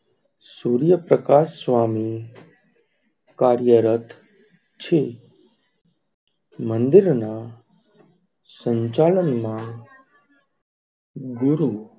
સુર્યપ્રકાશ સ્વામી કાર્ય રથ છે મંદિર ના સંચાલન માં ગુરુ,